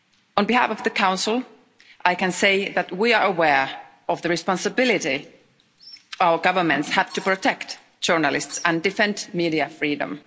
On behalf of the Council, I can say that we are aware of the responsibility our governments have to protect journalists and different media freedom.